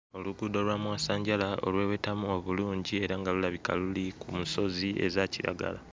Oluguudo olwa mwasanjala olwewetamu obulungi era nga lulabika luli ku musozi eza kiragala.